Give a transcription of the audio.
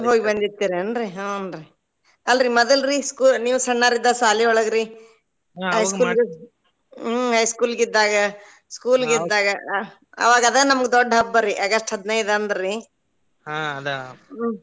ಹೋಗಿ ಬಂದಿರ್ತೆರಿ ಏನ್ರೀ ಹುಂ ರೀ ಅಲ್ರೀ ಮದಲ್ರೀ school ನೀವ್ ಸಣ್ಣಾವ್ರ ಇದ್ದಾಗ ಶಾಲಿಯೊಳ ಗ್ರಿ high school ಹ್ಮ್ high school ಗಿದ್ದಾಗ school ಗಿದ್ದಾಗ ಅವಾಗ ಅದೇ ನಮ್ಗ ದೊಡ್ಡ ಹಬ್ಬರಿ August ಹದಿನೈದ ಅಂದ್ರೀ .